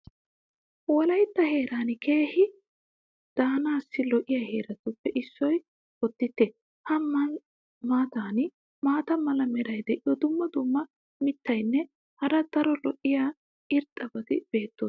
Wolaytta heeran keehi daanaassi lo'iya heeratuppe issoy boditte. a matan maata mala meray diyo dumma dumma mitatinne hara daro lo'iya irxxabati beetoosona.